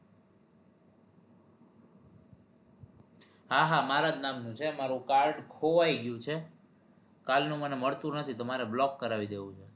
હા હા મારા જ નામનું છે મારું card ખોવાઈ ગયું છે કાલનું મને મળતું નથી તો મારે block કરાવી દેવું છે